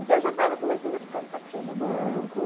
Então, eu já estava começando a ficar de saco cheio do banco.